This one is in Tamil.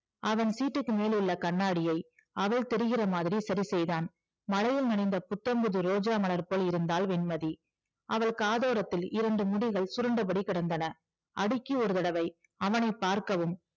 அவன் seat க்கு மேல் உள்ள கண்ணாடியை அவள் தெரிகிற மாதிரி சரி செய்தான் மழையில் நனைந்த புத்தம் புது ரோஜா மலர் போல் இருந்தாள் வெண்மதி அவள் காதோரத்தில் இரண்டு முடிகள் சுருண்டபடி கிடந்தன அடிக்கி ஒரு தடவை அவனை பார்க்கவும்